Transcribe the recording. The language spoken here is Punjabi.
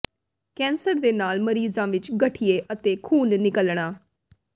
ਕੈਂਸਰ ਦੇ ਨਾਲ ਮਰੀਜ਼ਾਂ ਵਿੱਚ ਗਠੀਏ ਅਤੇ ਖੂਨ ਨਿਕਲਣਾ